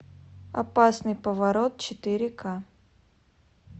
опасный поворот четыре ка